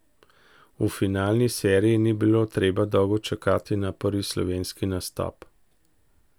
V finalni seriji ni bilo treba dolgo čakati na prvi slovenski nastop.